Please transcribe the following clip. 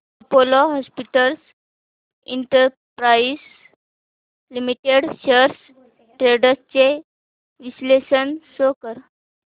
Apollo Hospitals Enterprise Limited shares trends चे विश्लेषण show कर